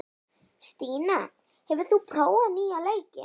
Stína, hefur þú prófað nýja leikinn?